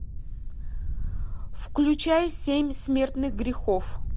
включай семь смертных грехов